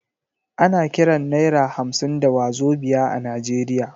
Ana kiran naira hamsin da wazobia a Najeriya.